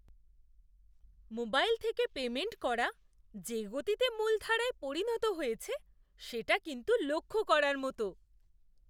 Mobile থেকে payment করা যে গতিতে মূলধারায় পরিণত হয়েছে সেটা কিন্তু লক্ষ করার মতো!